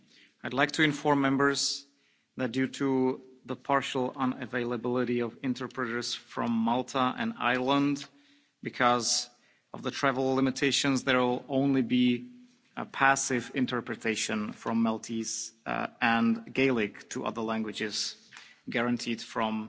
I'd like to inform Members that, due to the partial unavailability of interpreters from Malta and Ireland because of the travel limitations, there will only be passive interpretation from Maltese and Gaelic to other languages guaranteed from